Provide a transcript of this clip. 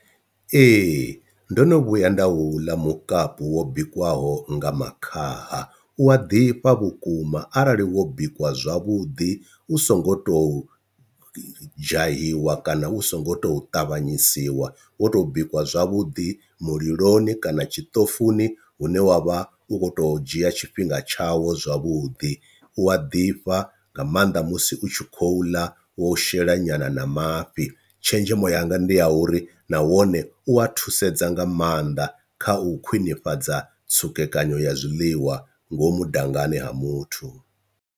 Ee ndo no vhuya nda u ḽa mukapu wo bikiwaho nga makhaha u a ḓifha vhukuma arali wo bikiwa zwavhuḓi u so ngo tou dzhahiwa kana u songo tou ṱavhanyisiwa wo to bikiwa zwavhuḓi muliloni kana tshiṱofuni hune wavha u kho to dzhia tshifhinga tshawo zwavhuḓi, u a ḓifha nga maanḓa musi u tshi khou ḽa wo shela nyana na mafhi, tshenzhemo yanga ndi ya uri nawone u a thusedza nga maanḓa kha u khwinifhadza tsukekanyo ya zwiḽiwa ngomu dangani ha muthu.